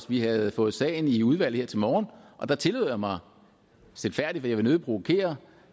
vi havde fået sagen i udvalg her til morgen og der tillod jeg mig stilfærdigt jeg vil nødig provokere